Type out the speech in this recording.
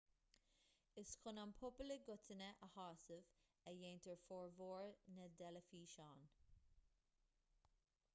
is chun an pobal i gcoitinne a shásamh a dhéantar formhór na dteilifíseán